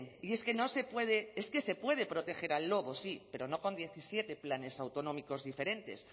y es que no se puede es que se puede proteger al lobo sí pero no con diecisiete planes autonómicos diferentes